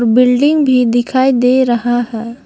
Building भी दिखाई दे रहा है।